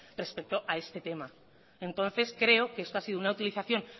respecto a este tema entonces creo que esto ha sido una utilización